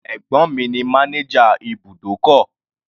Ẹ̀gbọ́n mi ní manager ibùdókọ̀.